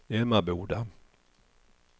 Emmaboda